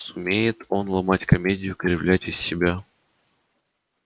сумеет он ломать комедию кривлять из себя